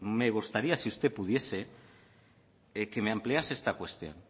me gustaría si usted pudiese que me ampliase esta cuestión